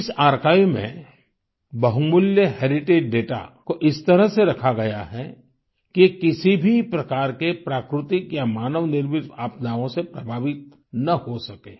इस आर्काइव में बहुमूल्य हेरिटेज दाता को इस प्रकार से रखा गया है कि किसी भी प्रकार के प्राकृतिक या मानव निर्मित आपदाओं से प्रभावित ना हो सकें